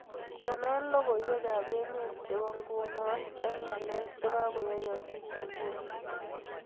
Konon logoywekab emet chebo nguno eng ngalek chegagoyoogiis nguno